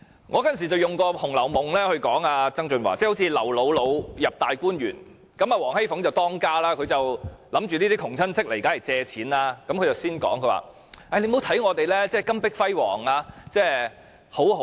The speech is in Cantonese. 我當時用《紅樓夢》來諷刺曾俊華，好像劉姥姥進入大觀園，王熙鳳作為當家，見窮親戚到來便認定是為了借錢，便先說：你不要看我們家裏金碧輝煌、日子好像過得很好。